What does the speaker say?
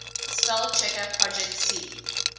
spellchecker projet c